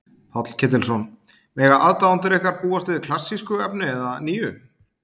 Páll Ketilsson: Mega aðdáendur ykkar búast við klassísku efni eða nýju?